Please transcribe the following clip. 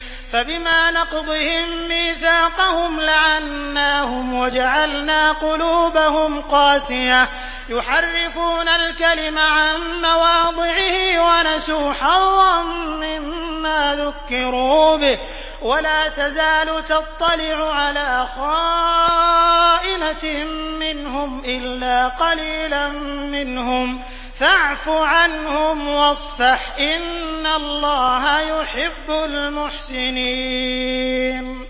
فَبِمَا نَقْضِهِم مِّيثَاقَهُمْ لَعَنَّاهُمْ وَجَعَلْنَا قُلُوبَهُمْ قَاسِيَةً ۖ يُحَرِّفُونَ الْكَلِمَ عَن مَّوَاضِعِهِ ۙ وَنَسُوا حَظًّا مِّمَّا ذُكِّرُوا بِهِ ۚ وَلَا تَزَالُ تَطَّلِعُ عَلَىٰ خَائِنَةٍ مِّنْهُمْ إِلَّا قَلِيلًا مِّنْهُمْ ۖ فَاعْفُ عَنْهُمْ وَاصْفَحْ ۚ إِنَّ اللَّهَ يُحِبُّ الْمُحْسِنِينَ